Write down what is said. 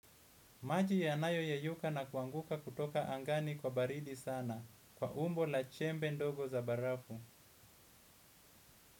Maji yanayoyeyuka na kuanguka kutoka angani kwa baridi sana kwa umbo la chembe ndogo za barafu.